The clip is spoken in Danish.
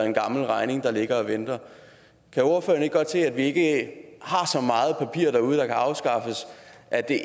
en gammel regning der ligger og venter kan ordføreren ikke godt se at vi ikke har så meget papir derude der kan afskaffes at det